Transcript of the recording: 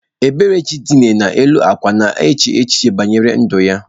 Eberechi dina n’elu akwa na-eche echiche banyere ndu ya.